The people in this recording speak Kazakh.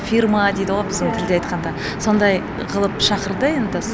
фирма дейді ғой біздің тілде айтқанда сондай қылып шақырды